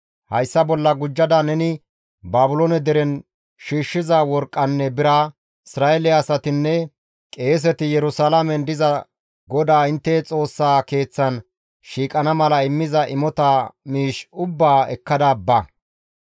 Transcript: Hayssa bolla gujjada neni Baabiloone deren shiishshiza worqqanne bira, Isra7eele asatinne qeeseti Yerusalaamen diza GODAA intte Xoossaa Keeththan shiiqana mala immiza imota miish ubbaa ekkada ba.